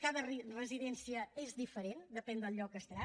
cada residència és diferent depèn del lloc en què estarà